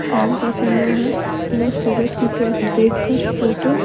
शाम का समय है वह सूरत की तरफ देखकर फोटो --